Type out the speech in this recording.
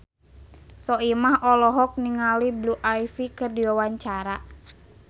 Soimah olohok ningali Blue Ivy keur diwawancara